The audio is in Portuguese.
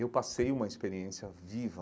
Eu passei uma experiência viva